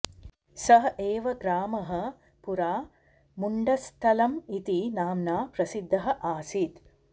सः एव ग्रामः पुरा मुण्डस्थलम् इति नाम्ना प्रसिद्धः आसीत्